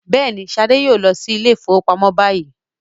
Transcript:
Yes, Shade will go to the bank now